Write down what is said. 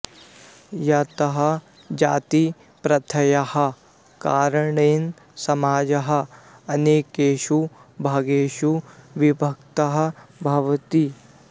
यतः जातिप्रथायाः कारणेन समाजः अनेकेषु भागेषु विभक्तः भवति